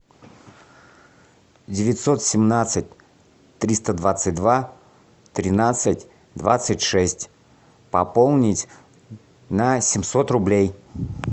девятьсот семнадцать триста двадцать два тринадцать двадцать шесть пополнить на семьсот рублей